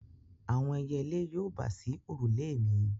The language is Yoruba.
Àwọn ẹyẹlé yóò bà sí òrùlé mi.